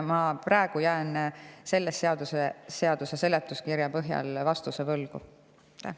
Ma praegu selle seletuskirja põhjal vastata ei saa.